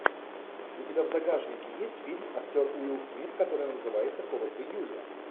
у тебя в загашнике есть фильм актер уилл смит который называется холод в июле